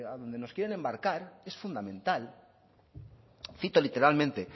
donde nos quieren embarcar es fundamental cito literalmente